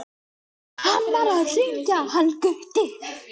HANN VAR AÐ HRINGJA HANN GUTTI.